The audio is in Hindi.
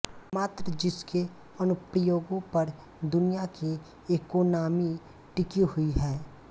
मात्र जिसके अनुप्रयोगों पर दुनिया की इकोनामी टिकी हुई है